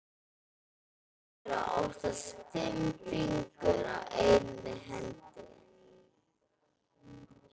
Það eru oftast fimm fingur á einni hendi.